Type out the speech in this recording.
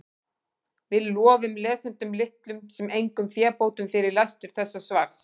Við lofum lesendum litlum sem engum fébótum fyrir lestur þessa svars.